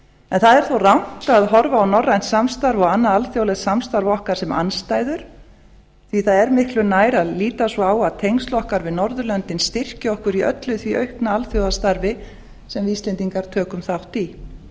en það er þó rangt að horfa á norrænt samstarf og annað alþjóðlegt samstarf okkar sem andstæður því að það er miklu nær að líta svo á að tengsl okkar við norðurlöndin styrki okkur í öllu því aukna alþjóðastarfi sem við íslendingar tökum þátt í